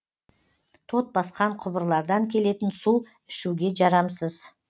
тот басқан құбырлардан келетін су ішуге жарамсыз